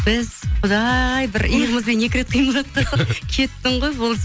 біз құдай бір иығымызбен екі рет қимылдатып қалсақ кеттің ғой болды